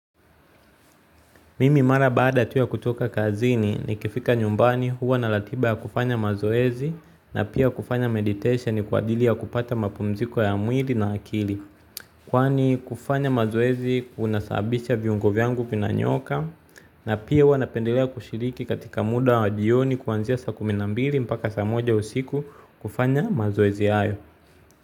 Mimi mara baada tu ya kutoka kazini ni kifika nyumbani huwa na ratiba ya kufanya mazoezi na pia kufanya meditation kwa ajili ya kupata mapumziko ya mwili na akili. Kwani kufanya mazoezi kuna sababisha viungo vyangu vina nyooka na pia huwa napendelea kushiriki katika muda wa jioni kuanzia saa kuminambili mpaka saa moja usiku kufanya mazoezi hayo.